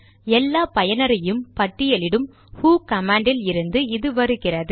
எல்லா பயனரையும் பட்டியலிடும் ஹு கமாண்ட் இல் இருந்து இது வருகிறது